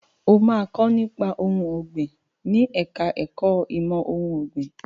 O máa kọ́ nípa ohun ọ̀gbìn ní ẹ̀ka ẹ̀kó ìmọ̀ ohun ọ̀gbìn.